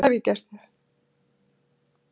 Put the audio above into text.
hvað hef ég gert þér?